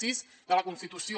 sis de la constitució